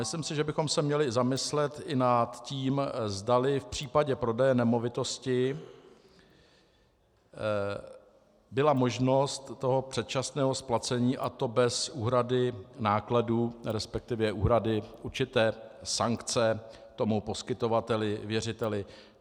Myslím si, že bychom se měli zamyslet i nad tím, zdali v případě prodeje nemovitosti byla možnost toho předčasného splacení, a to bez úhrady nákladů, respektive úhrady určité sankce tomu poskytovateli, věřiteli.